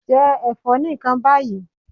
Jẹ ẹ̀fọ́ nìkan báyìí.